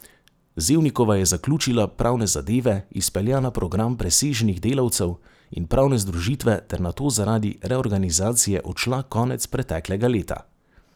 Zevnikova je zaključila pravne zadeve, izpeljala program presežnih delavcev in pravne združitve ter nato zaradi reorganizacije odšla konec preteklega leta.